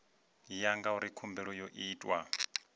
ya ngauri khumbelo yo itwa